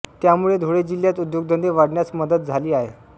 त्यामुळे धुळे जिल्यात उद्योगधंदे वाढण्यास मदत झाली आहे